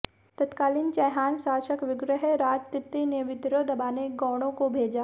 तत्कालीन चैहान शासक विग्रहराज तृतीय ने विद्रोह दबाने गौड़ों को भेजा